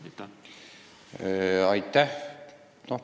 Aitäh!